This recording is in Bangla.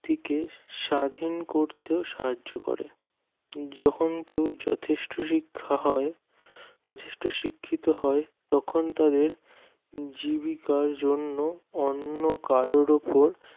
ব্যাক্তিকে স্বাধীন করতে সাহায্য করে যখন কেউ যথেষ্ট শিক্ষা হয় যথেষ্ট শিক্ষিত হয় তখন তাদের জীবিকার জন্য অন্য কারোর ওপর